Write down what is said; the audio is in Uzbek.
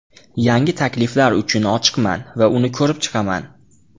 Yangi takliflar uchun ochiqman va uni ko‘rib chiqaman.